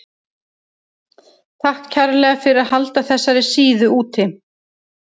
Takk kærlega fyrir að halda þessari síðu úti.